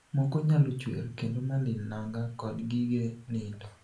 Moko nyalo chwer kendo malil nanga kod gige nindo.